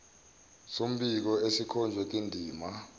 sombiko esikhonjwe kwindima